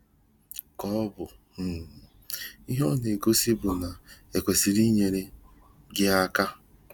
Ka ọbụ um ihe ọ na-egosi bụ na-ekwesịrị inyere gị aka?